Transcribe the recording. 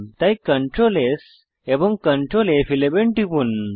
তাই Ctrl S এবং Ctrl ফ11 টিপুন